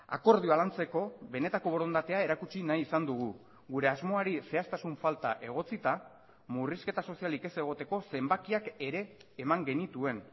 akordioa lantzeko benetako borondatea erakutsi nahi izan dugu gure asmoari zehaztasun falta egotzita murrizketa sozialik ez egoteko zenbakiak ere eman genituen